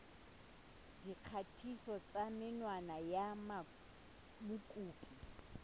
dikgatiso tsa menwana ya mokopi